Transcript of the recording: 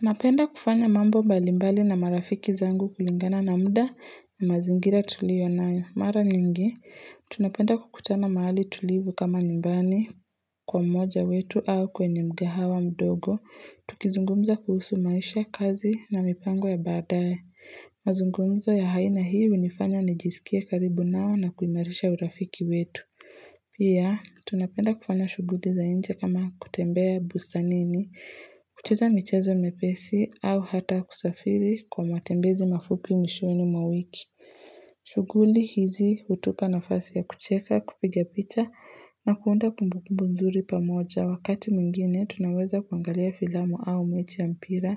Napenda kufanya mambo mbalimbali na marafiki zangu kulingana na muda na mazingira tuliyo nayo mara nyingi. Tunapenda kukutana mahali tulivu kama nyumbani kwa mmoja wetu au kwenye mkahawa mdogo. Tukizungumza kuhusu maisha kazi na mipango ya baadaye. Mazungumzo ya aina hii hunifanya nijisikia karibu nao na kuimarisha urafiki wetu. Pia, tunapenda kufanya shughuli za nje kama kutembea bustanini. Kucheza michezo mepesi au hata kusafiri kwa matembezi mafupi mwishoni mwa wiki shughuli hizi hutupa nafasi ya kucheka kupiga picha na kuunda kumbukumbu nzuri pamoja. Wakati mwingine tunaweza kuangalia filamu au mechi ya mpira